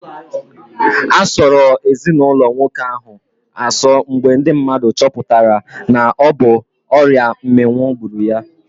A sọrọ ezinaụlọ nwoke ahụ asọ mgbe ndị mmadụ choputara na ọ bụ ọrịa mminwu gburu ya